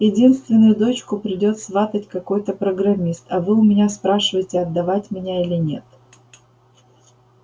единственную дочку придёт сватать какой-то программист а вы у меня спрашиваете отдавать меня или нет